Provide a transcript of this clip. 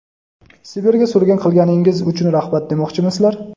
Sibirga surgun qilganingiz uchun rahmat demoqchimisizlar?.